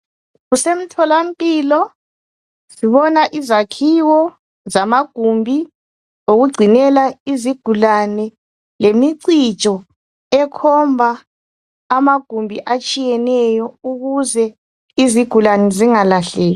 kusemtholampilo sibona izakhiwo zamagumbi wokucinela izigulane lemicijo ekhomba amagumbi atshiyeneyo ukuze izigulane zingalahleki